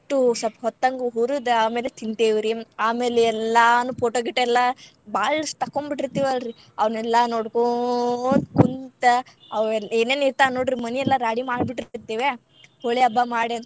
ಸ್ವಲ್ಪ್ ಹೊತ್ತಂಗ್ ಹುರದ್ ಆಮೇಲೆ ತಿಂತೇವ್ರಿ ಆಮೇಲೆ ಎಲ್ಲಾನು photo ಗಿಟೊ ಎಲ್ಲಾ ಬಾಳಷ್ಟ ತಕ್ಕೊಂನ್ಡ್ ಬಿಟ್ಟಿರ್ತೇವಲ್ರಿ ಅವ್ನೆಲ್ಲಾ ನೋಡ್ಕೊಂತ ಕುಂತ್ ಅವತ್ ಏನೇನ್ ಇರ್ತಾವ ನೋಡ್ರಿ ಮನಿ ಎಲ್ಲಾ ರಾಡಿ ಮಾಡಿ ಬಿಟ್ಟಿರ್ತೇವ್ಯ ಹೋಲಿ ಹಬ್ಬ ಮಾಡಿ ಅಂತಂದ್.